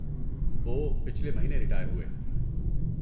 وہ پچھلے مہینے ریٹائر ہوئے۔